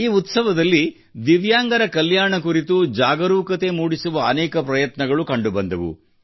ಈ ಉತ್ಸವದಲ್ಲಿ ದಿವ್ಯಾಂಗರ ಕಲ್ಯಾಣ ಕುರಿತು ಜಾಗರೂಕತೆ ಮೂಡಿಸುವ ಅನೇಕ ಪ್ರಯತ್ನಗಳು ಕಂಡುಬಂದವು